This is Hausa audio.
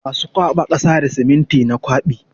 Masu kwaɓa kasa da siminti na kwaɓi.